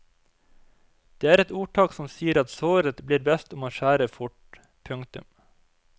Det er et ordtak som sier at såret blir best om man skjærer fort. punktum